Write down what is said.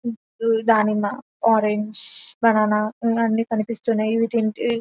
దానిమ్మ orange banana ఇవి అన్ని కనిపిస్తున్నాయి ఇవి తింటే--